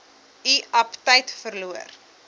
u aptyt verloor